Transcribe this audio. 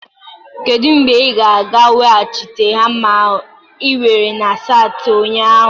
Kedu mgbe ị ga-aga weghachite hama ahụ ị were na saịtị ụnyaahụ?